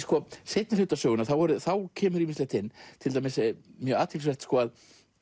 seinni hluta sögunnar kemur ýmislegt inn mjög athyglisvert að